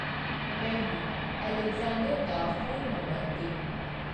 ਮੈਨੂੰ ਅਲੈਗਜ਼ੈਂਡਰ ਦਾ phone number ਦੇ ।